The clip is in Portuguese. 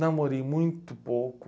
Namorei muito pouco.